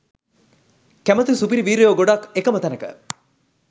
කැමති සුපිරි වීරයෝ ගොඩක් එකම තැනක.